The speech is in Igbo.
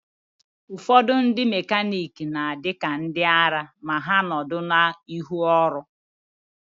Ụfọdụ ndị mekaniki na-adị ka ndịara ma ha nọdụ n'ihu ọrụ.